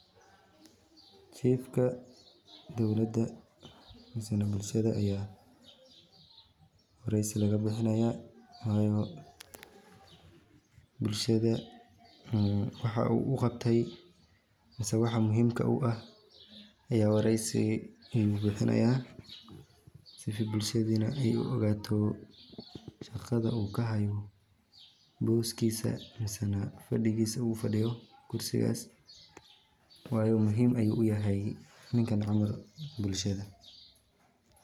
Chief-ka dowladda ama bulshada wareysi ayaa laga bixinayaa. Bulshada waxa lagu wargelinayaa waxa uu qabtay, ama waxa muhiimka ah ee uu wareysiga uga hadlayo, si bulshada u ogaato shaqada uu hayo, booska ama kursiga uu fadhiyo, iyo sida uu muhiim ugu yahay bulshada ninkan camalka ah.